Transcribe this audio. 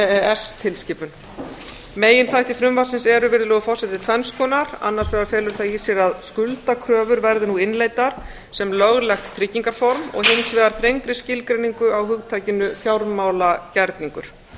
s tilskipun meginþættir frumvarpsins eru virðulegur m forseti tvenns konar annars vegar felur það í sér að skuldakröfur verði nú innleiddar sem löglegt tryggingarform og hins vegar þrengri skilgreiningu á hugtakinu fjármálagerningur